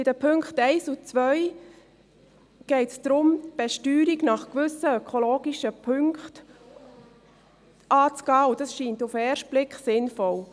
Bei den Punkten 1 und 2 geht es darum, die Besteuerung nach gewissen ökologischen Punkten anzugehen, und das scheint auf den ersten Blick sinnvoll.